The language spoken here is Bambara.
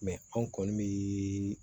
anw kɔni bɛ